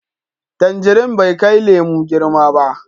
Tangirin bai kai lemo girma ba.